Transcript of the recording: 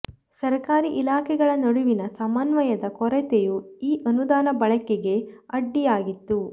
ಸರ್ಕಾರಿ ಇಲಾಖೆಗಳ ನಡುವಿನ ಸಮನ್ವಯದ ಕೊರತೆಯೂ ಈ ಅನುದಾನ ಬಳಕೆಗೆ ಅಡ್ಡಿಯಾಗಿತ್ತು